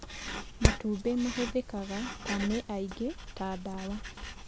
Matumbĩ mahũthĩkaga ta nĩ aingĩ ta dawa